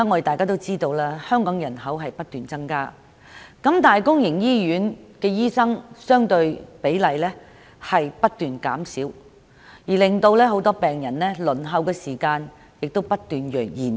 眾所周知，香港人口不斷增加，但相對而言，公營醫院的醫生比例卻不斷減少，令病人的輪候時間不斷延長。